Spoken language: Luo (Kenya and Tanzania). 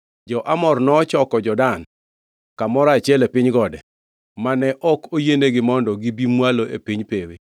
Jo-Amor nochoko jo-Dan kamoro achiel e piny gode, mane ok oyienigi mondo gibi mwalo e piny pewe.